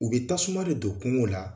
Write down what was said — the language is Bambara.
U bɛ tasuma de don kungo la